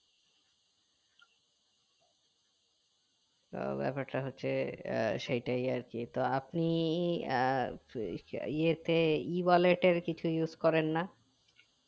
তো ব্যাপারটা হচ্ছে আহ সেইটাই আরকি তো আপনি আহ এ তে ই বলে কিছু use করেন না